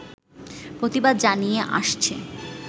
প্রতিবাদ জানিয়ে আসছে